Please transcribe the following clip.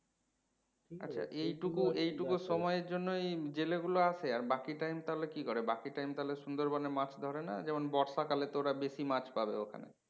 আচ্ছা এইটুকু এইটুকু সময়ের জন্যই জেলে গুলো আসে আর বাকি time তাহলে কি করে বাকি time তাহলে সুন্দরবন এ মাছ ধরে না যেমন বর্ষাকালে তো ওরা বেশি মাছ পাবে ওখানে